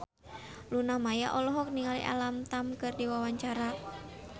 Luna Maya olohok ningali Alam Tam keur diwawancara